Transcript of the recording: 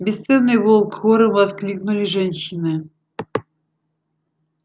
бесценный волк хором воскликнули женщины